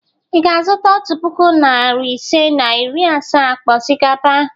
Ị ga-azụta otu puku, narị ise na iri asaa akpa osikapa?